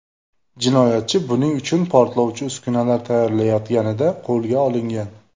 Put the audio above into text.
Jinoyatchi buning uchun portlovchi uskunalar tayyorlayotganida qo‘lga olingan.